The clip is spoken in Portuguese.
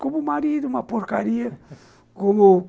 Como marido, uma porcaria